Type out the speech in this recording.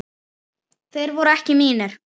Þeir voru ekki mínir.